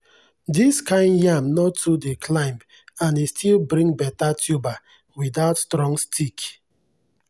this kind yam no too dey climb and e still bring better tuber without strong stick.